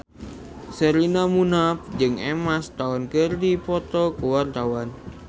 Sherina Munaf jeung Emma Stone keur dipoto ku wartawan